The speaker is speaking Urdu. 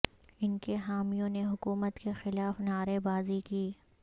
ان کے حامیوں نے حکومت کے خلاف نعرے بازی کی